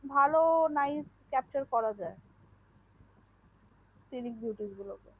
ভালো nice captchar করা যাই সানিকে বেয়াউটিএস গুলো কে